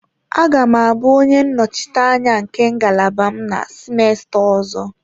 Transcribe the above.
Aga m abụ onye nnọchiteanya nke ngalaba m na semester ọzọ.